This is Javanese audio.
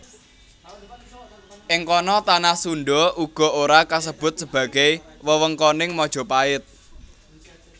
Ing kono tanah Sundha uga ora kasebut sebagai wewengkoning Majapait